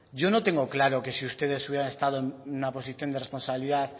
yo no tengo claro que si ustedes hubieran estado en una posición de responsabilidad